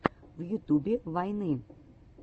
в ютюбе вайны